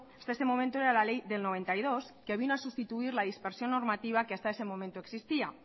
este momento era la ley de mil novecientos noventa y dos que vino a sustituir la dispersión normativa que hasta ese momento existía